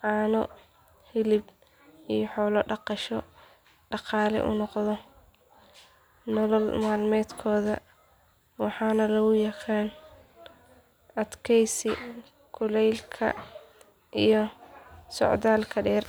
caano hilib iyo xoolo dhaqasho dhaqaale u noqda nolol maalmeedkooda waxaana lagu yaqaan adkaysi kulaylka iyo socdaalka dheer.